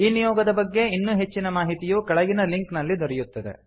ಈ ನಿಯೋಗದ ಬಗ್ಗೆ ಇನ್ನೂ ಹೆಚ್ಚಿನ ಮಾಹಿತಿಯು ಕೆಳಗಿನ ಲಿಂಕ್ ನಲ್ಲಿ ದೊರೆಯುತ್ತದೆ